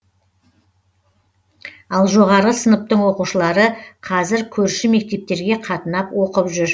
ал жоғары сыныптың оқушылары қазір көрші мектептерге қатынап оқып жүр